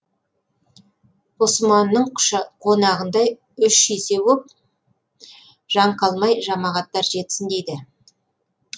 ғұсыманның қонағындай үш есе боп жан қалмай жамағаттар жетсін дейді